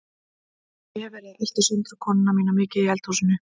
Ég hef verið að elta Söndru konuna mína mikið í eldhúsinu.